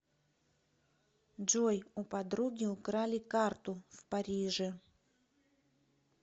джой у подруги украли карту в париже